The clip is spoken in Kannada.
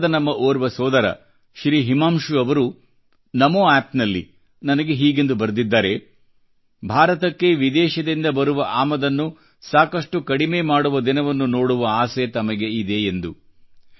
ಬಿಹಾರದ ನಮ್ಮ ಓರ್ವ ಸೋದರ ಶ್ರೀ ಹಿಮಾಂಶು ಅವರು ನಮೋ ಆಪ್ ನಲ್ಲಿ ನನಗೆ ಹೀಗೆಂದು ಬರೆದಿದ್ದಾರೆ ಭಾರತಕ್ಕೆ ವಿದೇಶದಿಂದ ಬರುವ ಆಮದನ್ನು ಸಾಕಷ್ಟು ಕಡಿಮೆ ಮಾಡುವ ದಿನವನ್ನು ನೋಡುವ ಆಸೆ ತಮಗೆ ಇದೆ ಎಂದು